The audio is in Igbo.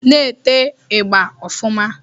Na-ete ị̣gba ọfụma